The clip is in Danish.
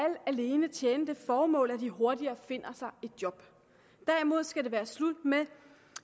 alene tjene det formål at de hurtigere finder sig et job derimod skal det være slut med